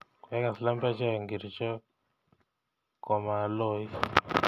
Kwegas lembechek ngircho komaloit